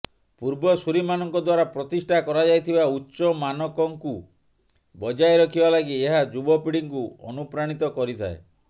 ପୂର୍ବସୂରୀ ମାନଙ୍କ ଦ୍ୱାରା ପ୍ରତିଷ୍ଠା କରାଯାଇଥିବା ଉଚ୍ଚ ମାନକକୁ ବଜାୟ ରଖିବା ଲାଗି ଏହା ଯୁବପିଢିଙ୍କୁ ଅନୁପ୍ରାଣିତ କରିଥାଏ